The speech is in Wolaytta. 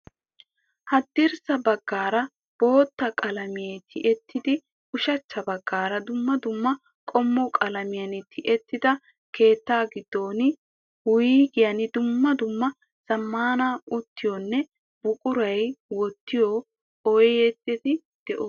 Haddirssa baggaara bootta qalamiya tiyettidi ushachcha baggaara dumma dumma qommo qalamiyan tiyettada keettaa giddon wuygiyan dumma dumma zammaana uttiyoonne buquraa wottiyoo oydeti de'oosona.